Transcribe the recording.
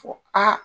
Fɔ aa